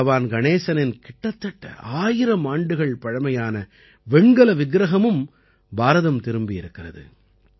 பகவான் கணேசனின் கிட்டத்தட்ட ஆயிரம் ஆண்டுகள் பழமையான வெண்கல விக்கிரகமும் பாரதம் திரும்பியிருக்கிறது